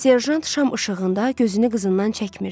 Serjant şam işığında gözünü qızından çəkmirdi.